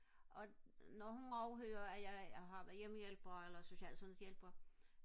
og når hun overhører at jeg har været hjemmehjælper eller social og sundheds hjælper